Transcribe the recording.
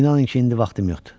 İnanın ki, indi vaxtım yoxdur.